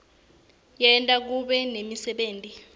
enta kube nemisebenti